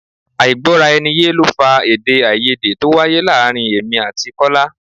Àìgbọ-rà-ẹniye ló fa èdè-áiyedé to wáyé láàárín èmi àti Kọ́lá.